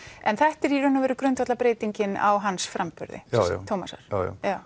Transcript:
en þetta er í rauninni grundvallarbreytingin á hans framburði já já